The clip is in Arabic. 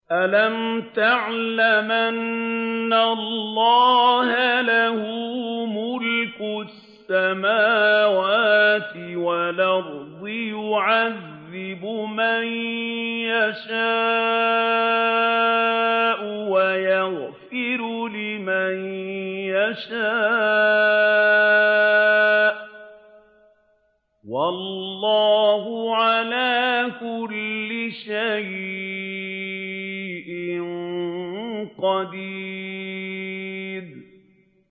أَلَمْ تَعْلَمْ أَنَّ اللَّهَ لَهُ مُلْكُ السَّمَاوَاتِ وَالْأَرْضِ يُعَذِّبُ مَن يَشَاءُ وَيَغْفِرُ لِمَن يَشَاءُ ۗ وَاللَّهُ عَلَىٰ كُلِّ شَيْءٍ قَدِيرٌ